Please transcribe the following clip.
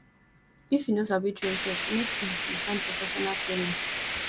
if you no sabi train pet make um you find professional trainer